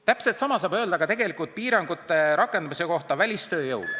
Täpselt sama saab öelda ka välistööjõule piirangute rakendamise kohta.